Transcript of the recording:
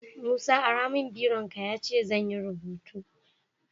Musa ara mun biron ka yace zanyi rubutu